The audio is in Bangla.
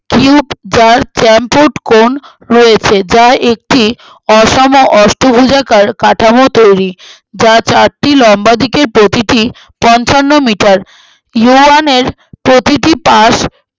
cute trail tampoint cone রয়েছে যা একটি অসাম্য অষ্টভুজার কার কাঠামো তৈরী যার চারটি লম্বা দিকের প্রতিটি পঞ্চান্ন meter ইউয়ানের প্রতিটি পাশ